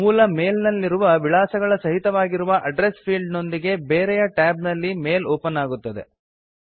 ಮೂಲ ಮೇಲ್ ನಲ್ಲಿರುವ ವಿಳಾಸಗಳ ಸಹಿತವಾಗಿರುವ ಅಡ್ಡ್ರೆಸ್ ಫೀಲ್ಡ್ ನೊಂದಿಗೆ ಬೇರೆಯ ಟ್ಯಾಬ್ ನಲ್ಲಿ ಮೇಲ್ ಓಪನ್ ಅಗುತ್ತದೆ